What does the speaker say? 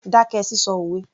Dákẹ́ sísọ òwe